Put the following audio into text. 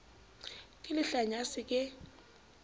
ke lehlanya a se ke